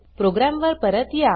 programme वर परत या